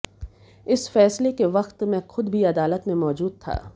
इस फैसले के वक्त मैं खुद भी अदालत में मौजूद था